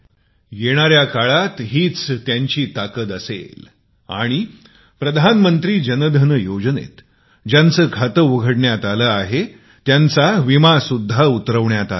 येणाऱ्या काळात हीच त्यांची ताकद आहे आणि प्रधानमंत्री जनधन योजनेत ज्याचे खाते उघडण्यात आले आहे त्याचा विमा सुद्धा उतरवण्यात आला आहे